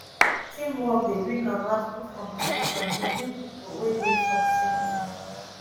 teamwork dey bring about good competition between pipo wey dey for the same team